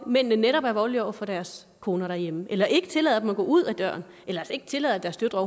mændene netop er voldelige over for deres koner derhjemme eller ikke tillader dem at gå ud af døren eller ikke tillader at deres døtre